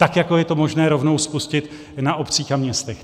Tak jako je to možné rovnou spustit na obcích a městech.